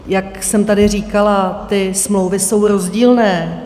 Jak jsem tady říkala, ty smlouvy jsou rozdílné.